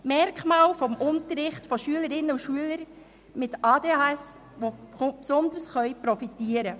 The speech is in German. Es gibt Merkmale eines Unterrichts, von dem Schülerinnen und Schüler mit ADHS besonders profitieren.